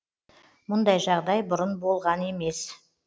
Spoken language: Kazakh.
мұндай жағдай бұрын болған емес